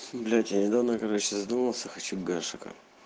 блять я недавно короче я задумался хочу гашека